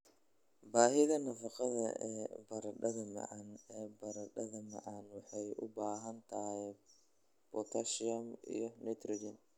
"Baahida nafaqada ee baradhada macaan ee Baradhada macaan waxay u baahan tahay potassium & nitrogen.